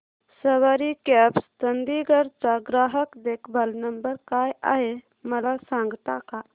सवारी cabs Chandigarh चा ग्राहक देखभाल नंबर काय आहे मला सांगता का